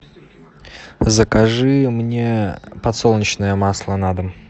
закажи мне подсолнечное масло на дом